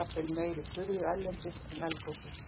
jafnvel meiri furðu erlendis en eldgosin.